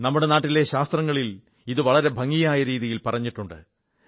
നമ്മുടെ നാട്ടിലെ ശാസ്ത്രങ്ങളിൽ ഇത് വളരെ ഭംഗിയായ രീതിയിൽ പറഞ്ഞിട്ടുണ്ട്